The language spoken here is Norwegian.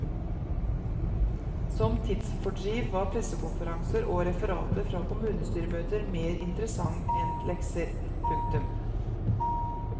Som tidsfordriv var pressekonferanser og referater fra kommunestyremøter mer interessant enn lekser. punktum